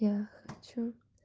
я хочу